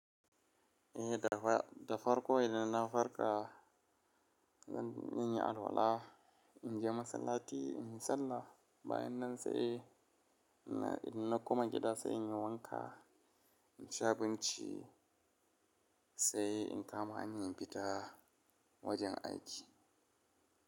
Eh da farko idan na farka zan in yi alwala, in je masallaci in yi sallah. Bayan nan sai ina ina kuma gida sai in yi wanka, in ci abinci sai in kama han yan fita wajen aiki.